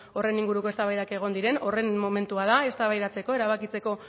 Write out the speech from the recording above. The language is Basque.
horren inguruko eztabaidak egon diren horren momentua da eztabaidatzeko erabakitzeko